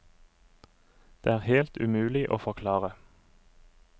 Det er helt umulig å forklare.